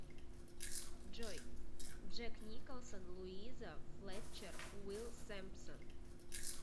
джой джек николсон луиза флетчер уилл сэмпсон